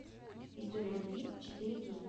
история любви четыре кей